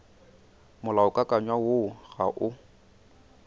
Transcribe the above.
molaokakanywa woo o ga o